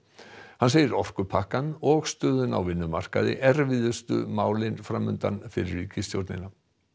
hann segir orkupakkann og stöðuna á vinnumarkaði erfiðustu málin fram undan fyrir ríkisstjórnina